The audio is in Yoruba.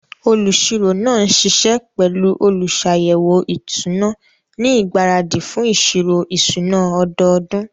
Olùṣirò náà ń ṣiṣẹ́ pẹ̀lú olùṣàyẹ̀wò ìṣúná ní ìgbáradì fún ìṣirò ìṣúná ọdọọdún.